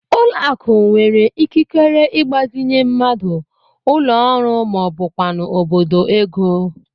Ụlọakụ nwere ikikere ịgbazinye mmadụ, ụlọọrụ maọbụkwanụ obodo ego